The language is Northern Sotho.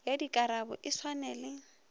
ya dikarabo e swane le